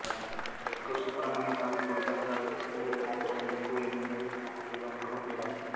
எக்கூர் சுப்ரமணியசாமி கோயில் தமிழ்நாட்டில் கிருஷ்ணகிரி மாவட்டம் எக்கூர் என்னும் ஊரில் அமைந்துள்ள முருகன் கோயிலாகும்